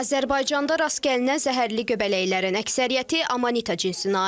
Azərbaycanda rast gəlinən zəhərli göbələklərin əksəriyyəti Amanita cinsinə aiddir.